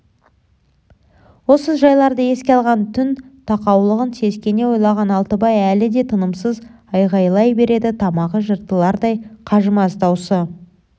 осы жайларды еске алған түн тақаулығын сескене ойлаған алтыбай әлі де тынымсыз айғайлай береді тамағы жыртылардай қажымас даусы